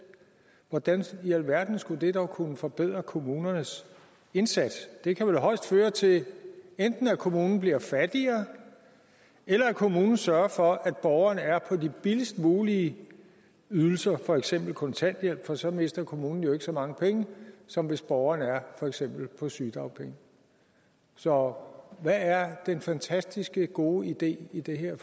hvordan i alverden skulle det dog kunne forbedre kommunernes indsats det kan vel højst føre til enten at kommunen bliver fattigere eller at kommunen sørger for at borgerne er på de billigst mulige ydelser for eksempel kontanthjælp for så mister kommunen jo ikke så mange penge som hvis borgeren er for eksempel på sygedagpenge så hvad er den fantastisk gode idé i det her